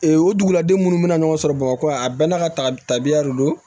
Ee o duguladen minnu bɛna ɲɔgɔn sɔrɔ bamakɔ yan a bɛɛ n'a ka ta tabiya de do